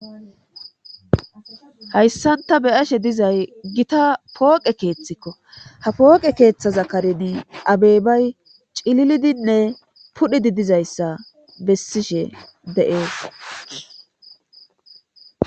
hayssan ta beyashe dizay gita pooqe keeththikko ha pooqe keeththaza karei abeybay cililidinne pudhidi dizayssa bessishe de7ees